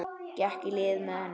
Gekk í lið með henni.